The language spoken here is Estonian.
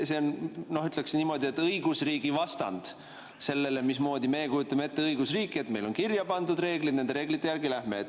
See on, ütleksin niimoodi, õigusriigi vastand, vastand sellele, mismoodi me kujutame ette õigusriiki, et meil on kirjapandud reeglid ja nende reeglite järgi lähme edasi.